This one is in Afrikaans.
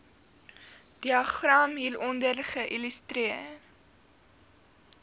diagram hieronder illustreer